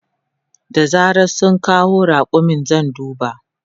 Da zaran sun kawo raƙumin zan duba.